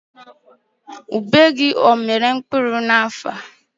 Ube gị amịrị mkpụrụ n'afọ a?